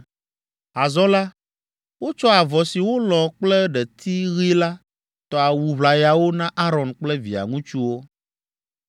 Azɔ la, wotsɔ avɔ si wolɔ̃ kple ɖeti ɣi la tɔ awu ʋlayawo na Aron kple via ŋutsuwo.